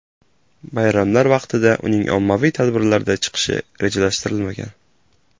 Bayramlar vaqtida uning ommaviy tadbirlarda chiqishi rejalashtirilmagan.